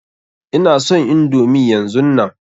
Ina son indomi yanzunnan.